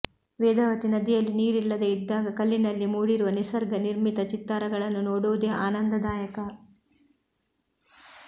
ವೇದಾವತಿ ನದಿಯಲ್ಲಿ ನೀರಿಲ್ಲದೆ ಇದ್ದಾಗ ಕಲ್ಲಿನಲ್ಲಿ ಮೂಡಿರುವ ನಿಸರ್ಗ ನಿರ್ಮಿತ ಚಿತ್ತಾರಗಳನ್ನು ನೋಡುವುದೇ ಆನಂದದಾಯಕ